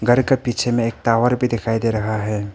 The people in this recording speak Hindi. घर के पीछे में एक टावर भी दिखाई दे रहा है।